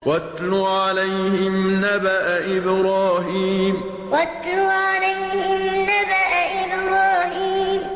وَاتْلُ عَلَيْهِمْ نَبَأَ إِبْرَاهِيمَ وَاتْلُ عَلَيْهِمْ نَبَأَ إِبْرَاهِيمَ